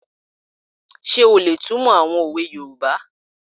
Ṣé o lè túnmọ̀ àwọn òwe yoòbá?